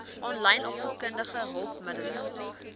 aanlyn opvoedkundige hulpmiddele